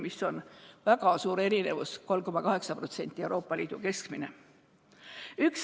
Siin on väga suur erinevus: 3,8% on Euroopa Liidu keskmine.